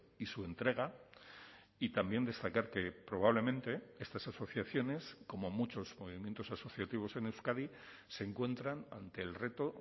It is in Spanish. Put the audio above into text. y su entrega y también destacar que probablemente estas asociaciones como muchos movimientos asociativos en euskadi se encuentran ante el reto